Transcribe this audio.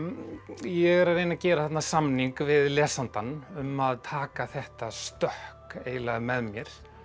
ég er að reyna að gera þarna samning við lesandann um að taka þetta stökk eiginlega með mér